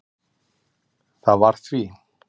Það var því